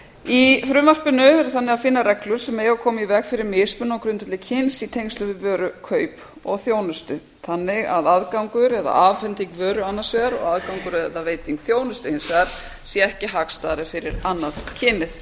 í frumvarpinu er þannig að finna reglur sem eiga að koma í veg fyrir mismunun á grundvelli kyns í tengslum við vörukaup og þjónustu þannig að aðgangur eða afhending vöru annars vegar og aðgangur eða veiting þjónustu hins vegar sé ekki hagstæðari fyrir annað kynið